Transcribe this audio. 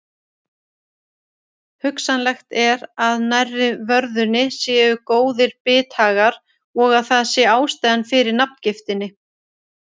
Hugsanlegt er að nærri vörðunni séu góðir bithagar og að það sé ástæðan fyrir nafngiftinni.